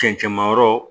Cɛncɛnmayɔrɔ